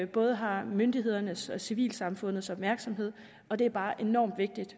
både har myndighedernes og civilsamfundets opmærksomhed og det er bare enormt vigtigt